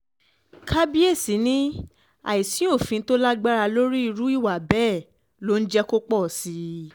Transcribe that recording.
kábíyèsí ni àìsí òfin tó lágbára lórí irú um ìwà bẹ́ẹ̀ ló ń jẹ́ kó pọ̀ sí i um